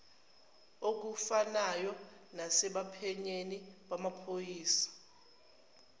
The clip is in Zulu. okufanayo nasebaphenyini bamaphoyisa